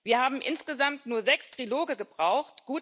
Wir haben insgesamt nur sechs Triloge gebraucht.